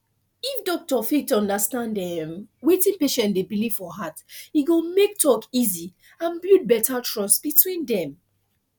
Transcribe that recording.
if doctor fit understand um wetin patient dey believe for heart e go make talk easy and build better trust between dem